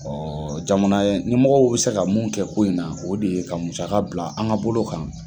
jamana ɲɛmɔgɔw bɛ se ka mun kɛ ko in na, o de ye ka musaka bila an ka bolo kan.